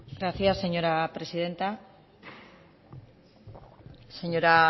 gracias señora presidenta señora